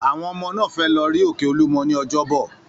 Àwọn ọmọ náà fẹ́ lọ rí òkè Olúmọ ní ọjọ́bọ̀.